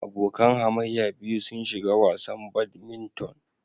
Abokan hamayya biyu sun shiga wasan badminton.